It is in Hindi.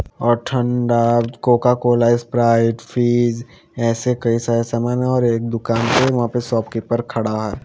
और ठंडा कोका कोला स्प्राइट फिज ऐसे कई सारे सामान है और एक दुकान है वहां पे शॉपकीपर खड़ा है।